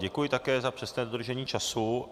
Děkuji také za přesné dodržení času.